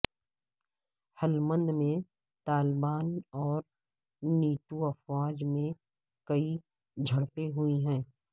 ہلمند میں طالبان اور نیٹو افواج میں کئی جھڑپیں ہوئی ہیں